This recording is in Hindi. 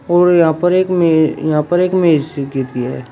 और यहां पर एक मे यहां पर एक में सी की थी है।